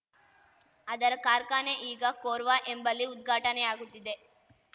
ಅದರ ಕಾರ್ಖಾನೆ ಈಗ ಕೋರ್ವಾ ಎಂಬಲ್ಲಿ ಉದ್ಘಾಟನೆಯಾಗುತ್ತಿದೆ